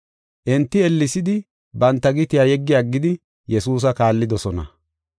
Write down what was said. Enti ellesidi banta gitiya yeggi aggidi Yesuusa kaallidosona.